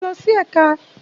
Ṣé wọ́n lọ sí ẹ̀ka?